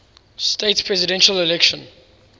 states presidential election